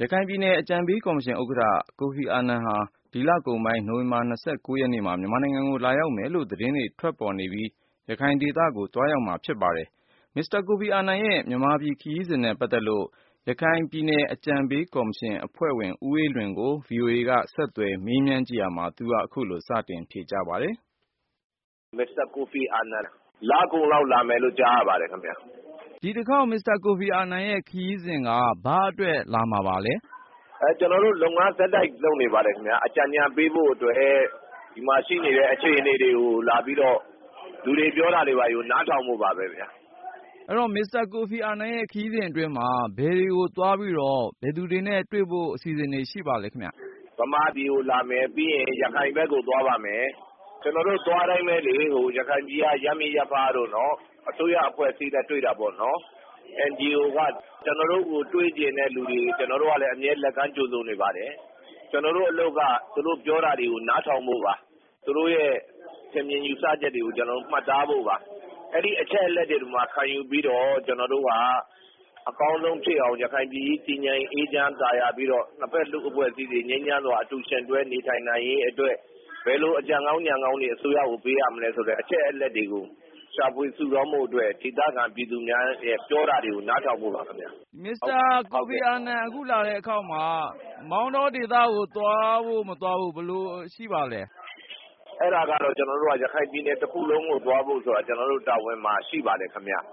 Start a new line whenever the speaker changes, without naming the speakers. ရခိုင်ပြည်နယ်အကြံပေးကော်မရှင်ဥက္ကဋ္ဌ ကိုဖီအာနန်ဟာ ဒီလကုန်ပိုင်း နိုဝင်ဘာ၂၉ ရက်နေ့မှာ မြန်မာနိုင်ငံကို လာရောက်မယ်လို့ သတင်းတွေ ထွက်ပေါ်နေပြီး၊ ရခိုင်ဒေသကို သွားရောက်မှာဖြစ်ပါတယ်။ မစ္စတာ ကိုဖီအာနန်ရဲ့ မြန်မာပြည် ခရီးစဉ်နဲ့ပတ်သက်လို့ ရခိုင်ပြည်နယ်အကြံပေး ကော်မရှင်အဖွဲ့ဝင် ဦးအေးလွင်ကို ကိုဉာဏ်ဝင်းအောင်က မေးမြန်းကြည့်ရာမှာ သူက ခုလိုစတင်ဖြေကြားပါတယ်။
မစ္စတာကိုဖီအာနန် လကုန်လာမယ်လို့ ကြားရပါတယ်။
ဒီတခေါက် မစ္စတာကိုဖီအာနန်ရဲ့ ခရီးစဉ်က ဘာအတွက် လာမှာပါလဲ။
ကျနော်တို့ လုပ်ငန်း ဆက်တိုက်လုပ်နေပါတယ်ခင်ဗျ။ အကြံဉာဏ်ပေးဖို့ အတွက် ဒီမှာရှိနေတဲ့ အခြေအနေတွေကို လူတွေ ပြောတာတွေကို နားထောင်ဖို့ပါပဲ။
အဲ့ဒီ့တော့ မစ္စတာကိုဖီအာနန်ရဲ့ခရီးစဉ်အတွင်းမှာ ဘယ်တွေကို သွားပြီးတော့ ဘယ်သူတွေနဲ့တွေ့ဖို့ အစီအစဉ်ရှိပါလဲခင်ဗျ။
မြန်မာပြည်ကိုလာမယ်။ ပြီးရင် ရခိုင်ဘက်ကို သွားပါမယ်။ ကျနော်တို့သွားတိုင်းပဲလေ ရခိုင်ပြည်က ရပ်မိရပ်ဖတို့၊ အစိုးရ အဖွဲ့အစည်းတွေ နဲ့ တွေ့တာပေါ့နော်။ NGO တို့ပေါ့နော်။ ကျေျနာ်တို့ကို တွေ့ချင်တဲ့ သူတွေကို ကျနော်တို့ကလည်း အမြဲလက်ကမ်း ကြိုဆိုနေပါတယ်။ ကျနော်တို့အလုပ်က သူတို့ပြောတာတွေကို နားထောင်ဖို့ပါ။ သူတို့ရဲ့ ထင်မြင်ယူဆချက်တွေကို မှတ်သားဖို့ပါ။ အဲ့ဒီ့အချက်အလက်တွေကို ခံယူပြီးမှ ကျနော်တို့က အကောင်းဆုံးဖြစ်အောင် ရခိုင်ပြည်ကြီး တည်ငြိမ်အေးချမ်း သာယာပြီးတော့ နှစ်ဘက် လူ့အဖွဲ့အစည်းတွေ ငြိမ်းချမ်းစွာ အတူယှဉ်တွဲ နေထိုင်နိုင်ရေး အတွက် ဘယ်လိုအကြံကောင်းဉာဏ်ကောင်းတွေ အစိုးရကို ပေးရမလဲဆိုတာ အချက်အလက်တွေကို ရှာဖွေစုဆောင်းဖို့ အတွက် ဒေသခံပြည်သူများ က ပြောတာတွေကို နားထောင်ဖို့ပါခင်ဗျ။
မစ္စတာကိုဖီအာနန် အခုလာတဲ့ တခေါက်မှာ မောင်တောဒေသ ကို သွားဖို့ မသွားဖို့ ဘယ်လိုရှိပါလဲ။
အဲ့တာကတော့ ရခိုင်ပြည်နယ် တခုလုံးကို သွားဖို့ဆိုတာ ကျနော်တို့ တာဝန်မှာ ရှိပါတယ်။ ကျနော်